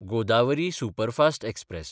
Godavari superfast express